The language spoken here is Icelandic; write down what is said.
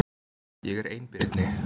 Ég er einbirni.